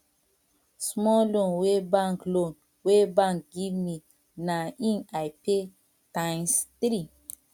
small loan wey bank loan wey bank give me na im i pay times three